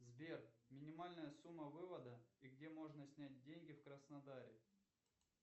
сбер минимальная сумма вывода и где можно снять деньги в краснодаре